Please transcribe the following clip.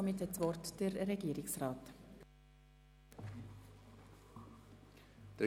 Somit erteile ich Regierungsrat Neuhaus das Wort.